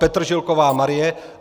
Petržilková Marie